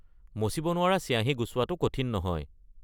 মচিব নোৱাৰা চিয়াহী গুচোৱাটো কঠিন নহয়।